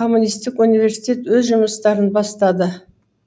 коммунистік университет өз жұмыстарын бастады